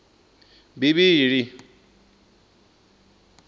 bivhili